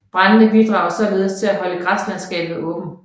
Brandene bidrager således til at holde græslandskabet åbent